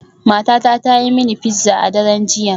Matata ta yi mini pizza a daren jiya.